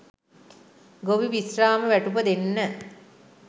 ගොවි විශ්‍රාම වැටුප දෙන්න